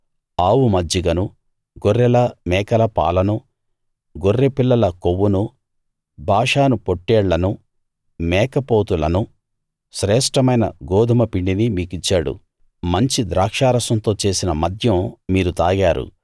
ఆవు మజ్జిగను గొర్రెల మేకల పాలనూ గొర్రెపిల్లల కొవ్వునూ బాషాను పొట్టేళ్లను మేకపోతులనూ శ్రేష్ఠమైన గోదుమ పిండినీ మీకిచ్చాడు మంచి ద్రాక్షరసంతో చేసిన మద్యం మీరు తాగారు